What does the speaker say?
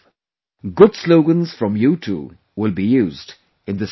Good slogans from you too will be used in this campaign